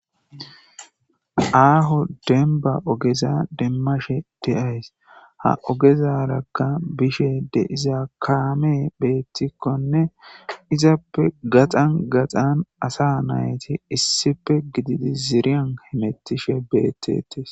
Aaho denba ogeza demmashe deays ha ogezarakka bishe de iza kaame beettikkonne izappe gaxan gaxan asa nayti issife gididi ziiriyan hemettishe beettetes.